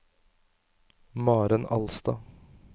Maren Alstad